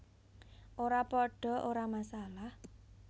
Ora padha ora masalah